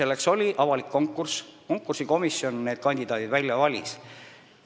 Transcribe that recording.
Aga oli avalik konkurss ja konkursikomisjon valis välja need inimesed kandidaatide hulgast, nagu ma enne vastasin.